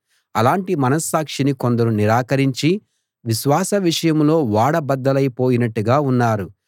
అలాటి మనస్సాక్షిని కొందరు నిరాకరించి విశ్వాస విషయంలో ఓడ బద్దలై పోయినట్టుగా ఉన్నారు